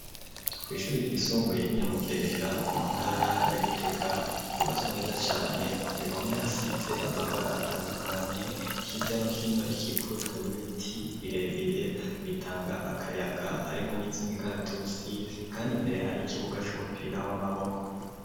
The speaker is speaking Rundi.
kw’ishuri ry'isumbuye ry’inyamugerera mu ntara ya Gitega ryubatswe neza cane, ku bihome hasize amabara atandukanye hirya no hino rikikujwe n'ibiti birebire bitanga akayaga harimwo n'ivy'imikaratusi, kandi mbere hari ikibuga c'umupira w'amaboko.